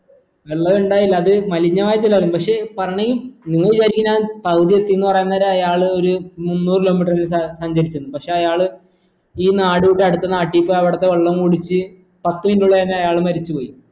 വെള്ളുണ്ടായിരുന്നില്ല അത് മലിനായ ജലായിരുന്നു പക്ഷേ പറണെ ഈ നിങ്ങ വിചാരിക്കും ഞാൻ പകുതി എത്തീന്ന് പറയാൻ നേരോ അയാൾ ഒരു മുന്നൂർ kilo meter ങ്കിലും സ സഞ്ചരിച്ചിന്ന് പക്ഷെ അയാൾ ഈ നാട് വിട്ട് അടുത്ത നാട്ടി പോ എവിടത്തെ വെള്ളം കുടിച് പത്തു minute ഉള്ളെന്നെ അയാൾ മരിച്ച് പോയി